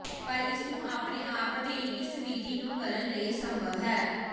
ਪਰ ਇਸ ਨੂੰ ਆਪਣੇ ਆਪ ਤੇ ਹੀ ਇਸ ਵਿਧੀ ਨੂੰ ਕਰਨ ਲਈ ਸੰਭਵ ਹੈ